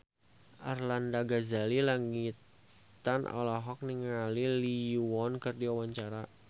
Arlanda Ghazali Langitan olohok ningali Lee Yo Won keur diwawancara